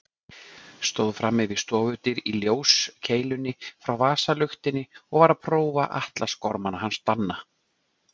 Stóð frammi við stofudyr í ljóskeilunni frá vasaluktinni og var að prófa atlasgormana hans Danna.